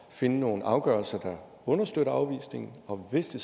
finde nogle afgørelser der understøtter afvisningen og hvis det